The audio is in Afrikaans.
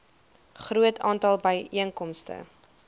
groot aantal byeenkomste